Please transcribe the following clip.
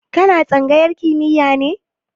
Ka na tsangayar kimiya ne?